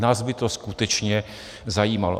Nás by to skutečně zajímalo.